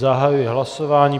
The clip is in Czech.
Zahajuji hlasování.